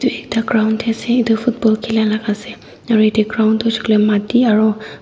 edu ekta ground tae ase edu football khililaka ase aro yatae ground toh hoishey koilae mati aro.